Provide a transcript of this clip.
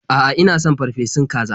A'a, ina son farfesun kaza.